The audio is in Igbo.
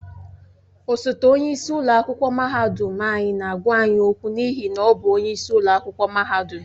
Osote onye isi ụlọ akwụkwọ mahadum anyị na-agwa anyị okwu n'ihi na ọ bụ onyeisi ụlọ akwụkwọ mahadum.